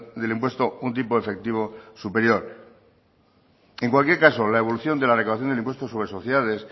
del impuesto un tiempo efectivo superior en cualquier caso la evolución de la recaudación del impuesto sobre sociedades